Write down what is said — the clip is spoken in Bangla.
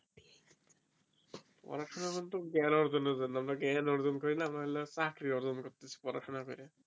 পড়াশোনা কিন্তু জ্ঞান অর্জন এর জন্য আমারা জ্ঞান অর্জন করি না আমারা হল চাকরি অর্জন করতেসি পড়াশোনা করে